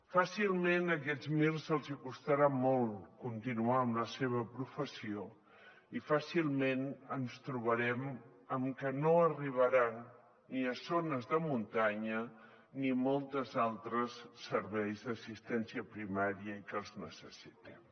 fàcilment a aquests mirs els hi costarà molt continuar en la seva professió i fàcilment ens trobarem amb que no arribaran ni a zones de muntanya ni a molts altres serveis d’assistència primària i que els necessitem